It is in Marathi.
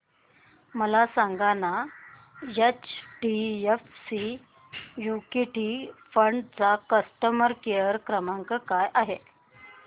मला सांगाना एचडीएफसी इक्वीटी फंड चा कस्टमर केअर क्रमांक काय आहे